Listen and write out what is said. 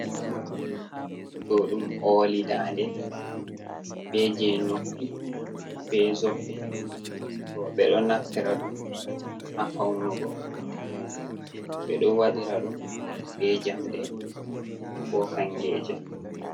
Do dum oli dande be je noppi be zobbe robe do naftira dum ha faunugo be do wadira dum be jamde ko kangeje.